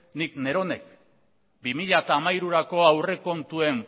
nik neronek bi mila hamairurako aurrekontuen